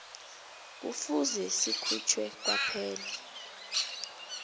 kufuze sikhutjhwe kwaphela